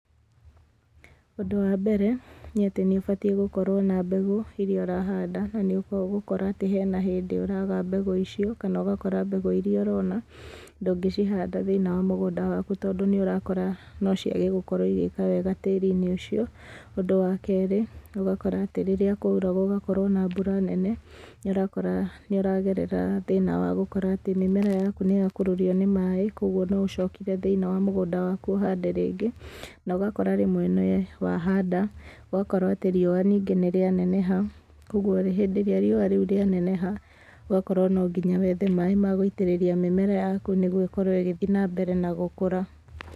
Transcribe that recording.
Ũndũ wa mbere nĩ atĩ nĩ batiĩ gũkorwo na mbegũ iria ũrahanda, na nĩ ũgũkora atĩ he na hĩndĩ ũraga mbegũ icio, kana ũgakora mbegũ iria ũrona ndũngĩcihanda thĩiniĩ wa mũgũnda waku, tondũ nĩ ũrakora no ciage gũkorwo igĩka wega tĩri-inĩ ũcio. Ũndũ wa kerĩ, ũgakora atĩ rĩrĩa kwaura gũgakorwo na mbura nene nĩ ũrakora nĩ ũragerera thĩna wa gũkora atĩ mĩmera yaku nĩ yakururio nĩ maĩ, koguo no ũcokire thĩiniĩ wa mũgũnda waku ũhande rĩngĩ, na ũgakorwo rĩmwe nĩ wahanda, na ũgakorwo atĩ riũa ningĩ nĩ rĩaneneha, koguo hĩndĩ ĩrĩa riũa rĩu rĩa neneha, ũgakorwo nonginya wethe maĩ ma gũitĩrĩria mĩmera yaku, nĩguo ĩkorwo ĩgĩthiĩ na mbere na gũkũra.